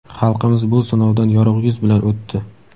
xalqimiz bu sinovdan yorug‘ yuz bilan o‘tdi.